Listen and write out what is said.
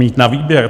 Mít na výběr.